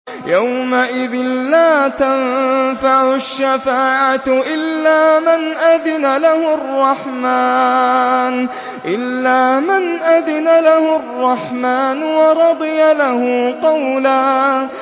يَوْمَئِذٍ لَّا تَنفَعُ الشَّفَاعَةُ إِلَّا مَنْ أَذِنَ لَهُ الرَّحْمَٰنُ وَرَضِيَ لَهُ قَوْلًا